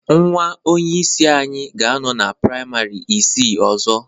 Nwa onyeisi anyị ga-anọ na praịmarị isii ọzọ